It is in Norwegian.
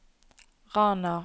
Rana